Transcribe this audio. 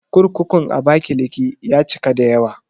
Kurkurun Abakiliki ya cika da yawa